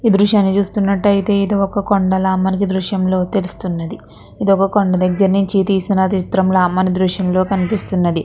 ఇది దృశ్యాన్ని చూస్తున్నట్టయితే ఇది ఒక కొండ లాగా మనకి ఈ దృశ్యంలో తెలుస్తున్నది . ఇది ఒక కొండ దగ్గర నుంచి తీసిన చిత్రంలా మనకి ఈ దృశ్యం లో కనిపిస్తున్నది.